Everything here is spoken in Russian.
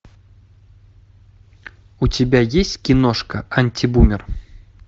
у тебя есть киношка антибумер